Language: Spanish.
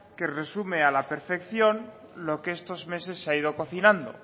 que resume a la perfección lo que estos meses se ha ido cocinando